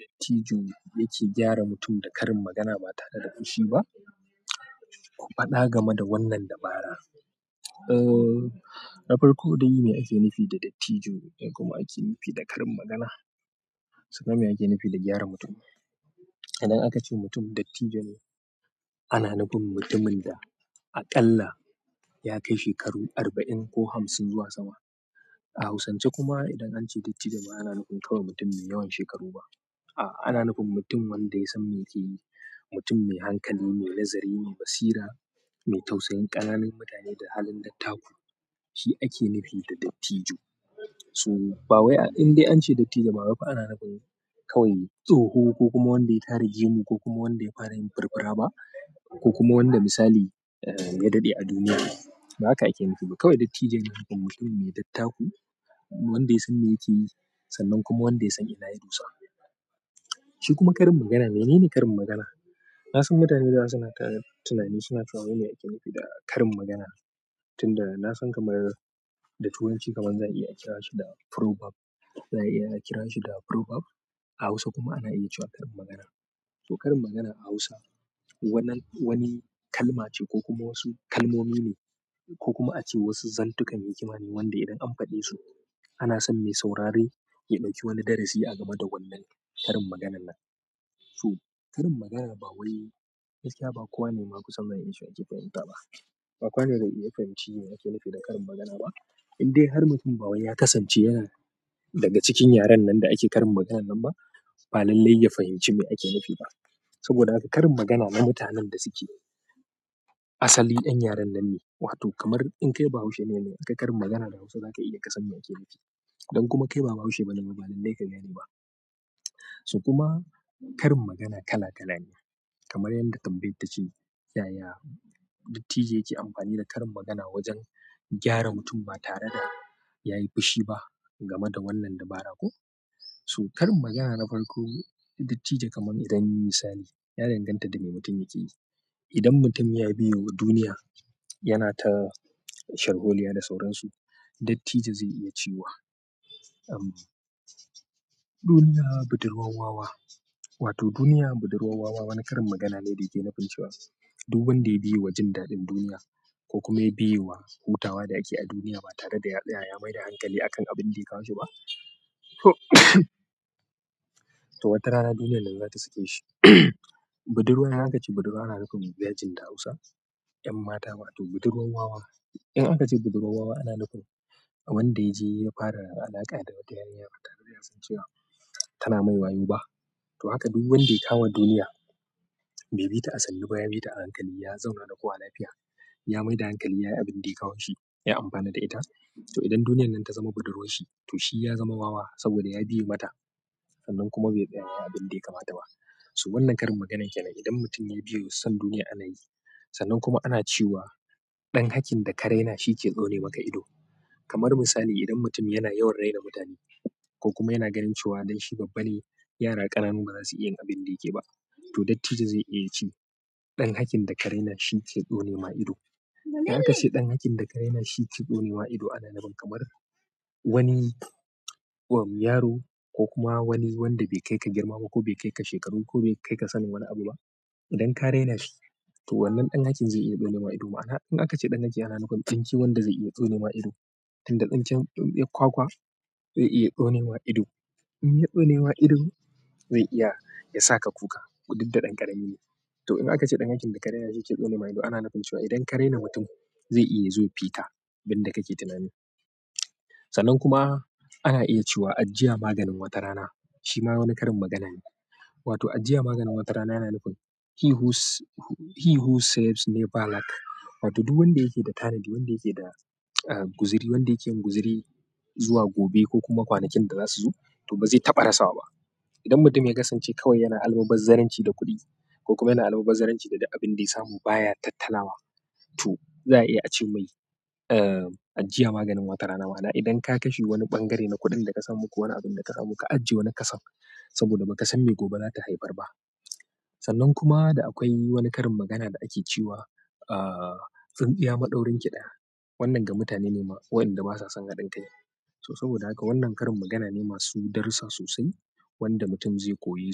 Dattijo yake gyara mutum da karin magana ba tare da fushi ba ku faɗa game da wannan dabara. Eee, na farko dai me ake nufi da dattijo? Me kuma ake nufi da karin magana? Sannan me ake nufi da gyara mutum. Idan aka ce mutum dattijo ne, ana nufin mutumin da aƙalla ya kai shekaru arba'in ko hamsin zuwa sama. A Hausance kuma idan an ce dattijo ba ana nufin kawai mutum mai yawan shekaru ba. A'a, ana nufin mutum wanda ya san me yake yi, mutum mai hankali, mai nazari, mai basira, mai tausayin ƙananun mutane da halin dattaku. Shi ake nufi da dattijo. So, bawai indai an ce dattijo bawai fa ana nufin kawai tsoho ko kuma wanda ya tare gemu, ko kuma wanda ya fara yin firfira ba, ko kuma wanda misali ya daɗe a duniya. Ba haka ake nufi ba, kawai dattijo yana nufin mutum mai dattaku, wanda ya san me yake yi, sannan kuma wanda ya san ina ya dosa. Shi kuma karin magana, menene karin magana? Nasan mutane da yawa su na ta tunani, su na cewa wai mi ake nufi da karin magana. Tunda na san kamar da Turanci, kamar za a iya kira shi da prove up, za a iya kira shi da prove up. A Hausa kuma ana iya cewa karin magana. To, karin magana a Hausa, wannan wani kalma ce ko kuma wasu kalmomi ne, ko kuma ace wasu zantukan hikima ne, wanda idan an faɗe su ana son me saurare ya ɗauki wani darasi a game da wannan karin maganan nan. To, karin magana bawai gaskiya ba kowane ma ku san zan iya cewa yake fahimta ba. Ba kowane zai ya fahimci me ake nufi da karin magana ba. Indai har mutum bawai ya kasance yana daga cikin yaren nan da ake karin magana nan ba, ba lallai ya fahimci me ake nufi ba. Saboda haka karin magana na mutanen da suke, asali 'yan yaren nan ne. Wato kamar in kai ba Haushe ne, in akai karin magana da Hausa za ka iya kasan me ake nufi. Idan kuma kai ba Bahaushe ba ne, ba lallai ka gane ba. To kuma karin magana kala kala ne. Kamar yanda tambayar ta ce, "yaya dattijo yake amfani da karin magana wajen gyara mutum ba tare da ya yi fushi ba game da wannan dabara ko? "to, karin magana na farko, dattijo kamar idan misali, ya danganta da me mutum yake yi. Idan mutum ya biye wa duniya, yana ta sharholiya da sauransu, dattijo zai iya cewa, "Duniya budurwar wawa." Wato "duniya budurwa wawa" wani karin magana ne da yake nufin cewa, duk wanda ya biye wa jin daɗin duniya ko kuma ya biye wa hutawa da ake a duniya ba tare da ya tsaya ya maida hankali akan abin da ya kawo shi ba, to wata rana duniyar nan za ta sake shi. "Budurwa" idan aka ce budurwa ana nufin mija jin da Hausa 'yan mata. Wato budurwa wawa. In aka ce "budurwa wawa" ana nufin wanda ya je ya fara alaƙa da wata 'yarinya ba tare da ya san cewa tana mai wayo ba. To haka duk wanda ya kama duniya, bai bi ta a sannu ba, ya bi ta a hankali, ya zauna da kowa lafiya, ya maida hankali, ya yi abin da ya kawo shi, ya amfana da ita. To idan duniyar nan ta zama budurwar shi, to shi ya zama wawa saboda ya biye mata. Sannan kuma bai tsaya abin da ya kamata ba. So wannan karin maganar da nai idan mutum ya biyewa son duniya ana yi. Sannan kuma ana cewa, "Dan hakin da ka raina shike tsone maka ido" kamar misali; idan mutum yana yawan raina mutane ko kuma yana ganin cewa don shi babba ne, yara ƙananu ba za su iya yin abin da yake ba. To, dattijo zai iya cewa, "Ɗan haƙƙin da ka raina shi ke tsone ma ido." In aka ce "ɗan hakin da ka raina shi ke tsone ma ido", ana nufin kamar wani yaro ko kuma wani wanda bai kai ka girma ba, ko bai kai ka shekaru ko, bai kai ka sanin wani abu ba, idan ka raina shi, to wannan ɗan hakin zai iya tsone ma ido. Ma'ana, in aka ce ɗan haki ana nufin tsinke wanda zai iya tsone ma ido. Inda tsinken tsintsiyar kwakwa zai iya tsone ma ido. In ya tsone ma ido, zai iya yasa ka kuka. Ko didda ɗan ƙarami ne. To, in aka ce ɗan hakin da ka raina shi yake tsone ma ido, ana nufin cewa idan ka raina mutum zai iya ya zo ya fika abin da kake tunani. Sannan kuma ana iya cewa, "Ajjiya maganin wata rana." Shi ma wani karin magana ne. Wato ajjiya maganin wata rana yana nufin "He whose saves never lack." Wato duk wanda yake da tanadi, wanda yake da guziri, wanda yake yin guziri zuwa gobe ko kuma kwanakin da za su zo, to ba zai taɓa rasawa ba. Idan mutum ya kasance kawai yana almubazzaranci da kuɗi, ko kuma yana almubazzaranci da duk abin da ya samu baya tattalawa, to za a iya ce mai, "Ajjiya maganin wata rana." Ma'ana idan ka kashe wani ɓangare na kuɗin da ka samu ko wani abin da ka samu, ka ajje wani kason saboda ba ka san me gobe za ta haifar ba. Sannan kuma da akwai wani karin magana da ake cewa, "Tsintsiya maɗaurinki ɗaya." Wannan ga mutane ne waɗanda ba sa son haɗin kai. To saboda haka wannan karin magana ne masu darussa sosai wanda mutum zai koye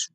su.